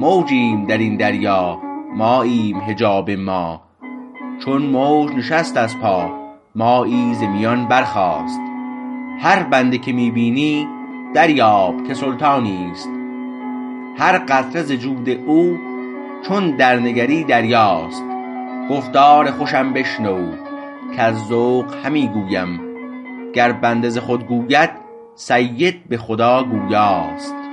موجیم در این دریا ماییم حجاب ما چون موج نشست از پا مایی ز میان برخواست هر بنده که می بینی دریاب که سلطانیست هر قطره ز جود او چون درنگری دریاست گفتار خوشم بشنو کز ذوق همی گویم گر بنده ز خود گوید سید به خدا گویاست